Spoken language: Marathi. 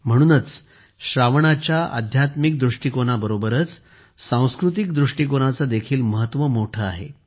म्हणूनच श्रावणाच्या अध्यात्मिक दृष्टीकोनाबरोबरच सांस्कृतिक दृष्टीकोनाचे देखील महत्त्व मोठे आहे